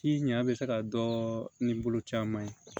Ci ɲa be se ka dɔn ni bolo caman ye